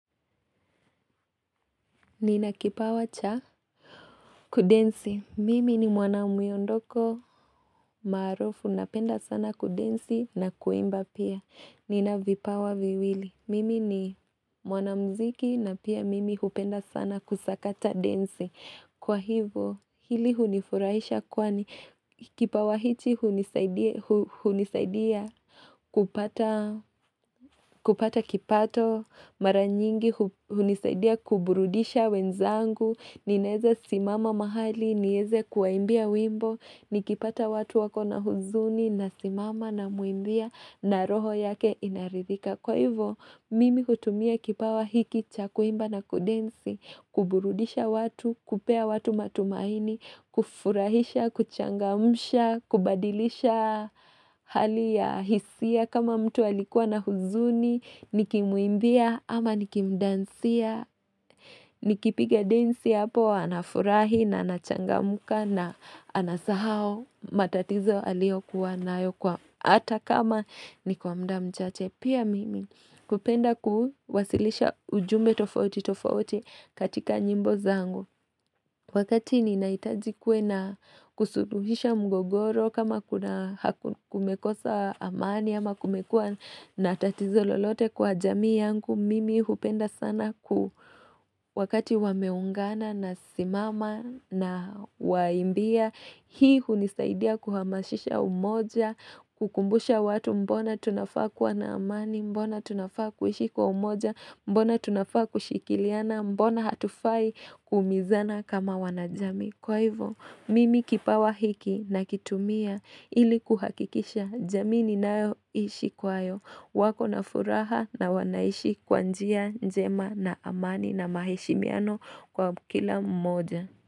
Nina kipawa cha kudensi. Mimi ni mwana myondoko maarufu napenda sana kudensi na kuimba pia. Nina vipawa viwili. Mimi ni mwana mziki na pia mimi hupenda sana kusakata densi. Kwa hivo, hili hunifurahisha kwani, kipawa hichi hunisaidia kupata kipato, maranyingi hunisaidia kuburudisha wenzangu, ninaeza simama mahali, nieze kuwaimbia wimbo, nikipata watu wako na huzuni, nasimama na namuimbia na roho yake inaridhika. Kwa hivyo, mimi hutumia kipawa hiki, cha kuimba na kudensi, kuburudisha watu, kupea watu matumaini, kufurahisha, kuchangamusha, kubadilisha hali ya hisia kama mtu alikuwa na huzuni, nikimuimbia ama nikimdansia, nikipiga densi hapo, anafurahi na anachangamuka na anasahau matatizo aliyo kuwa nayo kwa ata kama nikwamda mchache. Pia mimi kupenda kuhu wasilisha ujumbe tofauti tofauti katika nyimbo zangu Wakati ni naitajikwe na kusududisha mgogoro kama kumekosa amani ama kumekua na tatizo lolote kwa jamii yangu Mimi hupenda sana ku wakati wameungana na simama na waimbia Hii hunisaidia kuhamashisha umoja, kukumbusha watu mbona Mbona tunafaa kwa naamani, mbona tunafaa kuishi kwa umoja, mbona tunafaa kushikiliana, mbona hatufai kumizana kama wanajami. Kwa hivyo, mimi kipawa hiki na kitumia ili kuhakikisha jamii nao ishi kwayo. Wako na furaha na wanaishi kwanjia njema na amani na mahishi miano kwa kila umoja.